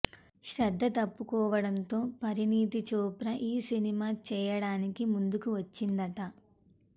శ్రద్ధా తప్పుకోవడంతో పరిణీతి చోప్రా ఈ సినిమా చేయడానికి ముందుకు వచ్చిందట